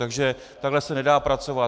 Takže takhle se nedá pracovat.